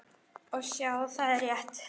Og sjá, það er rétt.